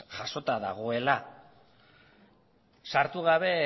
jasota dagoela sartu gabe